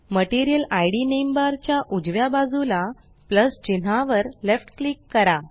material ID name bar च्या उजव्या बाजूला प्लस चिन्हावर लेफ्ट क्लिक करा